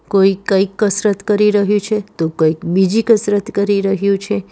કોઈ કઈક કસરત કરી રહ્યું છે તો કોઈક બીજી કસરત કરી રહ્યું છે.